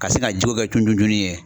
Ka se ka jiw kɛ cun cun cun ni ye.